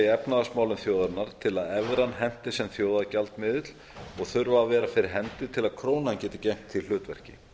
efnahagsmálum þjóðarinnar til að evran henti sem þjóðargjaldmiðill og þurfa að vera fyrir hendi til að krónan geti gegnt því hlutverki